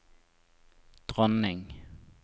dronning